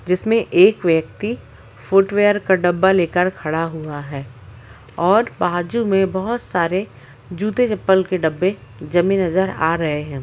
जिसमे एक व्यक्ति फुटवेयर का डब्बा लेकर खड़ा हुआ है और बाजु में बहुत सारे जूते चप्पल के डब्बे जमे नजर आ रहे है।